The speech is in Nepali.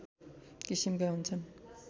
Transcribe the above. किसिमका हुन्छन्